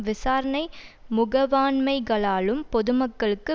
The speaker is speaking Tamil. விசாரணை முகவாண்மைகளாலும் பொதுமக்களுக்கு